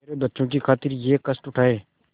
मेरे बच्चों की खातिर यह कष्ट उठायें